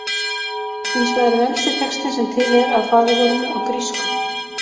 Hins vegar er elsti textinn sem til er af faðirvorinu á grísku: